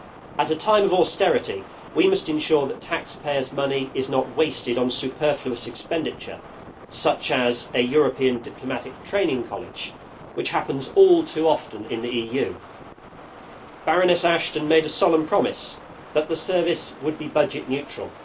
At a time of austerity, we must ensure that taxpayers' money is not wasted on superfluous expenditure, such as a European diplomatic training college, which happens all too often in the EU. Baroness Ashton made a solemn promise that the Service would be budget neutral.